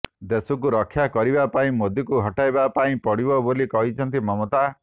ଦେଶକୁ ରକ୍ଷା କରିବା ପାଇଁ ମୋଦିଙ୍କୁ ହଟାଇବା ପାଇଁ ପଡ଼ିବ ବୋଲି କହିଛନ୍ତି ମମତା